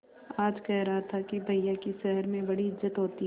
आज कह रहा था कि भैया की शहर में बड़ी इज्जत होती हैं